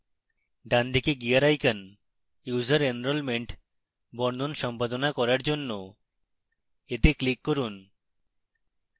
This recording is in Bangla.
ডান দিকে gear icon user enrolment বর্ণন সম্পাদনা করার জন্য